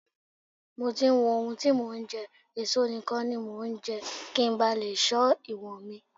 Mo ti ń wo ohun tí mò ń jẹ, èso nìkan ni mo ńjẹ́ kí ńba lè ṣọ́ ìwọ̀nmi.